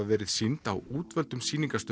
verið sýnd á útvöldum